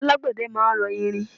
Àwọn alágbẹ̀dẹ máa ń rọ irin.